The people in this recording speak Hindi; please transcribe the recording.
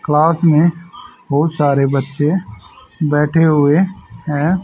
क्लास में बहोत सारे बच्चे बैठे हुए हैं।